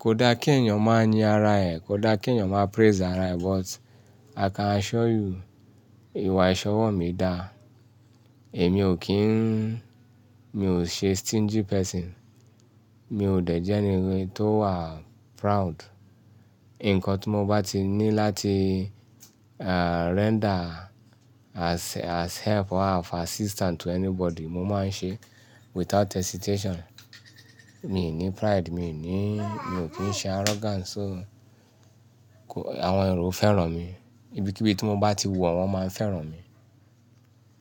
Kò dá kí èèyàn máa yin ara ẹ̀, kò dá kí èèyàn má praise ara ẹ̀, but i can assure you, ìwà ìṣọwọ́ mi dá. Èmi ò kí n mi ò ṣe stingy person. Mi ò dẹ jẹ ẹni tó wà proud. Ǹkan tí mo bá ti ní láti, uh, render as, as help or as assistant to anybody, mo máa ń ṣe without hesitation. Mi ò ní pride, mi ò ní, mi ò kí ń ṣe arrogant, so àwọn èrò fẹ́ràn mi. Ibikíbi tí mo bá ti wọ̀, wọ́n máa ń fẹ́ràn mi.